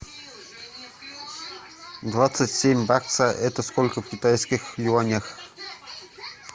двадцать семь бакса это сколько в китайских юанях